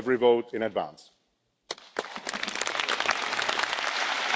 Abbiamo ascoltato i quattro candidati alla